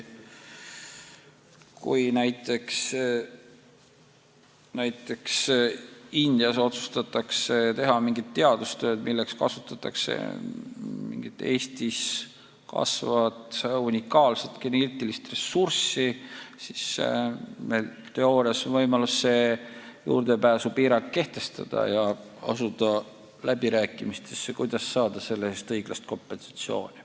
Kui näiteks Indias otsustatakse teha mingit teadustööd, milleks kasutatakse mingit Eestis olemasolevat unikaalset geneetilist ressurssi, siis teoorias on meil võimalus see juurdepääsupiirang kehtestada ja asuda läbirääkimistesse, kuidas saada selle eest õiglast kompensatsiooni.